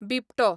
बिबटो